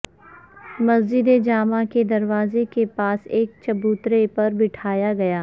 مسجد جامع کے دروازے کے پاس ایک چبوترے پر بٹھایا گیا